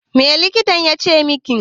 Me likitan ya ce miki?